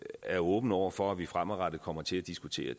er åben over for at vi fremadrettet kommer til at diskutere